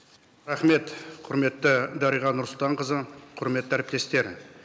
рахмет құрметті дариға нұрсұлтанқызы құрметті әріптестер